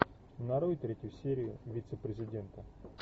нарой третью серию вице президента